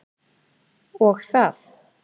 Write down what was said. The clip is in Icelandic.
Og það.